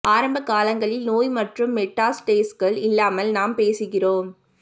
ஆரம்ப காலங்களில் நோய் மற்றும் மெட்டாஸ்டேஸ்கள் இல்லாமல் நாம் பேசுகிறோம்